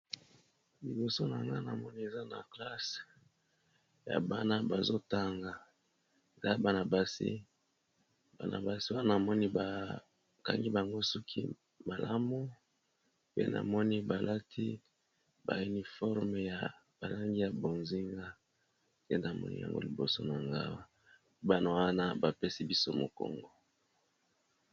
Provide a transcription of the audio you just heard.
Liboso na nga namoni eza ba classe ya bana bazo tanga eza bana basi, bana basi wana namoni ba kangi bango suki malamu pe na moni balati ba uniforme ya ba langi ya bozinga, pe namoni yango liboso na nga bana wana bapesi biso mokongo.